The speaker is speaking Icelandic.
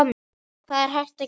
Hvað er hægt að gera?